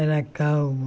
Era calmo.